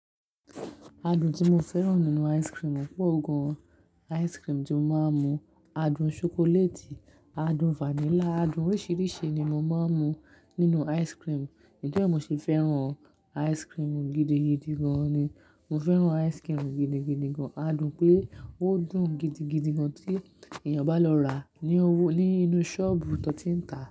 Adùn tí mo fẹ́ràn nínú ice cream, pọ̀ gan-an ice cream tí mo máa ń mu. Adùn ṣokoléètì, adùn vanilla, adùn oríṣìíríṣìí ni mo máa ń mu nínú ice cream. Nítorí ẹ̀ mo ṣe fẹ́ràn ice cream gidigidi gan-an ni, mo fẹ́ràn ice cream gidigidi gan-an. Adùn pé ó dùn gidigidi gan tí èèyàn bá lọ ràá ní inú ṣọ́ọ̀bù tón ti ń ta.